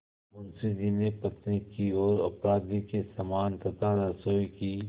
मुंशी जी ने पत्नी की ओर अपराधी के समान तथा रसोई की